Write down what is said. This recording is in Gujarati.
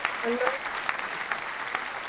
હેલો